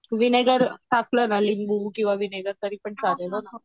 vinegar टाकलना लिंबू किंवा व्हिनेगर तरी पण चालेल